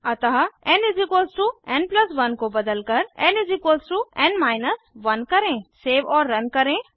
अतः nn 1 को बदलकर nn 1 करें सेव और रन करें